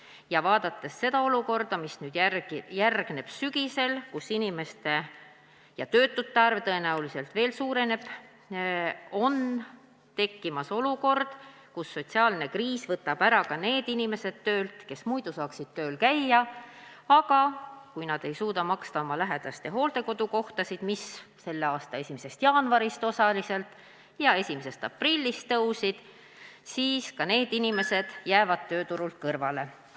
Ja vaadates seda, mis nüüd järgneb sügisel, kui töötute arv tõenäoliselt veel suureneb, võib tekkida olukord, kus sotsiaalne kriis võtab töölt ära ka need, kes muidu saaksid seal käia – kui inimesed ei suuda maksta oma lähedaste hooldekodukohtade eest, mille tasu selle aasta 1. jaanuarist osaliselt ja 1. aprillist tõusis, jäävad ka nemad tööturult kõrvale.